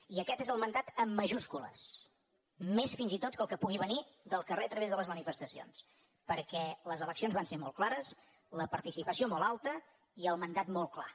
i aquest és el mandat amb majúscules més fins i tot que el que pugui venir del carrer a través de les manifestacions perquè les eleccions van ser molt clares la participació molt alta i el mandat molt clar